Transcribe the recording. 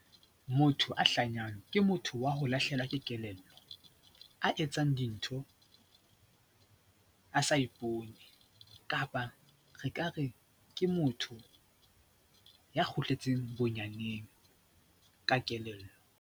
Motho a hlanyang ke motho wa ho lahlehelwa ke kelello, a etsang dintho a sa ipone kapa re ka re ke motho ya kgutletseng bonyaneng ka kelello.